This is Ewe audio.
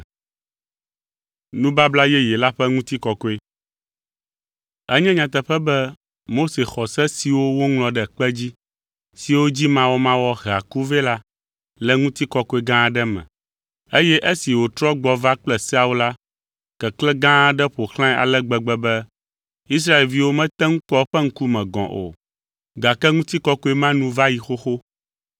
Enye nyateƒe be Mose xɔ se siwo woŋlɔ ɖe kpe dzi, siwo dzi mawɔmawɔ hea ku vɛ la, le ŋutikɔkɔe gã aɖe me. Eye esi wòtrɔ gbɔ va kple seawo la, keklẽ gã aɖe ƒo xlãe ale gbegbe be Israelviwo mete ŋu kpɔ eƒe ŋkume gɔ̃ o, gake ŋutikɔkɔe ma nu va yi xoxo.